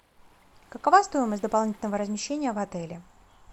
какова стоимость дополнительного размещения в отеле